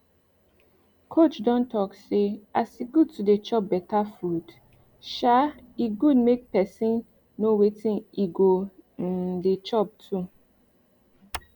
coach don talk say as e good to dey chop better food um e good make person wetin e go um dey chop too